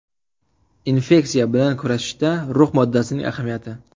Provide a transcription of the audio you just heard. Infeksiya bilan kurashishda rux moddasining ahamiyati.